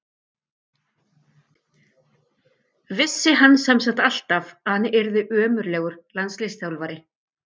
Vissi hann sem sagt alltaf að hann yrði ömurlegur landsliðsþjálfari?